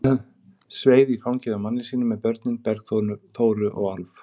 Sveif í fangið á manni sínum með börnin, Bergþóru og Álf.